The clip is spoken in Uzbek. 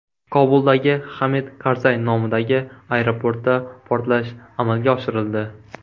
Kobuldagi Hamid Karzay nomidagi aeroportda portlash amalga oshirildi.